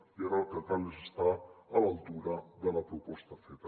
i ara el que cal és estar a l’altura de la proposta feta